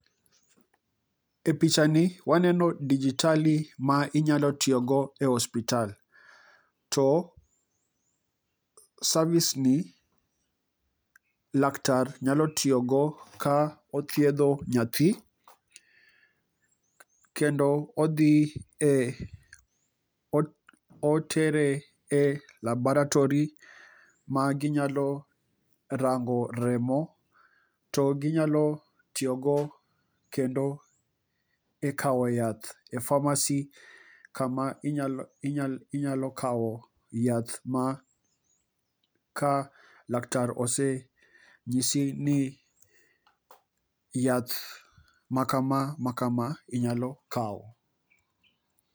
E picha ni waneno dijitali ma inyalo tiyogo e osiptal to service ni laktar nyalotiyogo ka othiedho nyathi kendo odhi e,otere e labaratory ma ginyalo rango remo to ginyalotiyogo kendo e kao yath e pharmacy kama inyalokao yath ma ka laktar osenyisi ni yath makama makama inyalo kao.